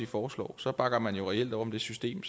foreslår så bakker man jo reelt op om det system